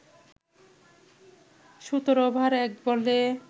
১৭ over ১ বলে